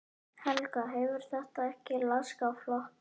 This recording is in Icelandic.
Helga: Hefur þetta ekki laskað flokkinn?